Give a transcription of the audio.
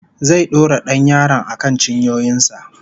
Zai dora dan yaron akan cinyoyin sa